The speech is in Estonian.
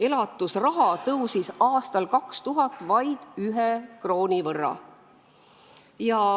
Elatusraha tõusis aastal 2000 vaid 1 krooni võrra.